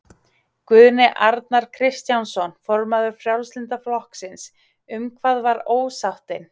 Guðjón Arnar Kristjánsson, formaður Frjálslynda flokksins: Um hvað var ósáttin?